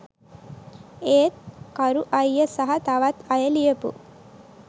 ඒත් කරු අයිය සහ තවත් අය ලියපු